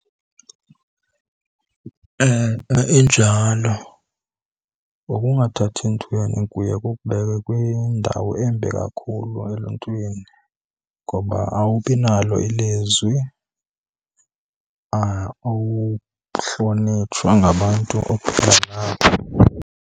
E-e injalo, ukungathathi ntweni kuye kukubeke kwindawo embi kakhulu eluntwini ngoba awubinalo ilizwi, ukuhlonitshwa ngabantu ohlala nabo.